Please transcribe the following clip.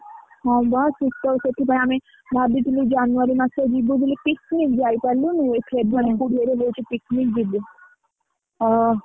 ହଁ, ବା ଶୀତ ସେଠି ଜାଣି, ଭାବିଥିଲୁ January ମାସ ରେ ଯିବେ ବୋଲି picnic ଯାଇ ପାରିଲୁନୁ ଏ February ହୁଁ ରେ ଭାବୁଛୁ picnic ଯିବୁ, ଓ,